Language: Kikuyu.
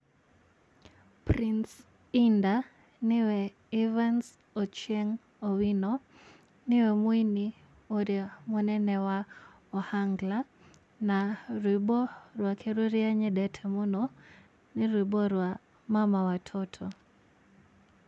Prince Indah nĩwe Evans Ochieng Owino nĩwe mũini ũria mũnene wa Ohangla na rwĩmbo rwake rũrĩa nyendete mũno nĩ rwĩmbo rwa mama watoto.